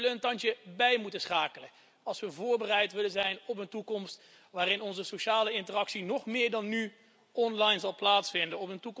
En we zullen een tandje bij moeten schakelen als we voorbereid willen zijn op een toekomst waarin onze sociale interactie nog meer dan nu online zal plaatsvinden.